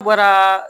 Bɔra